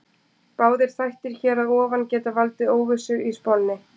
Báðir þættirnir hér að ofan geta valdið óvissu í spánni.